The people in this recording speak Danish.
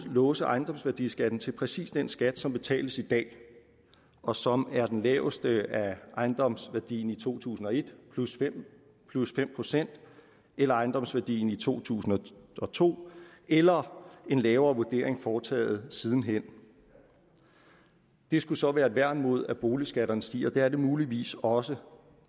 låse ejendomsværdiskatten til præcis den skat som betales i dag og som er den laveste af ejendomsværdien i to tusind og et plus fem plus fem procent eller ejendomsværdien i to tusind og to eller en lavere vurdering foretaget siden hen det skulle så være et værn mod at boligskatterne stiger det er det muligvis også